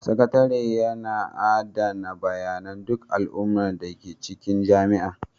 Sakatare yana adana bayanan duk al'amuran da ke cikin jami'a.